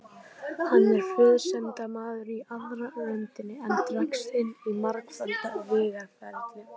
Hann er friðsemdarmaður í aðra röndina, en dregst inn í margföld vígaferli.